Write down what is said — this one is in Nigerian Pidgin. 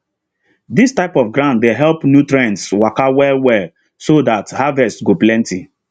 dis type of ground dey help nutrients waka well well so that harvest go plenty